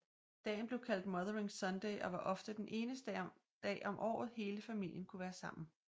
Dagen blev kaldt Mothering Sunday og var ofte den eneste dag om året hele familier kunne være sammen